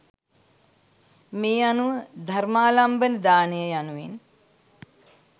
මේ අනුව ධර්මාලම්බන දානය යනුවෙන්